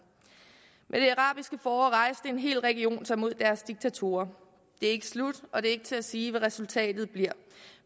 med det arabiske forår rejste en hel region sig mod deres diktatorer det er ikke slut og det er ikke til at sige hvad resultatet bliver